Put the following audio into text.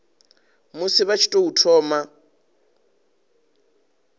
musi vha tshi tou thoma